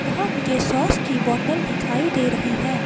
यह मुझे सॉस की बोतल दिखाई दे रही है।